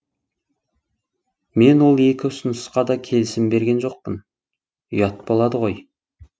мен ол екі ұсынысқа да келісім берген жоқпын ұят болады ғой